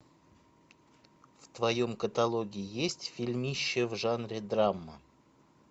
в твоем каталоге есть фильмище в жанре драма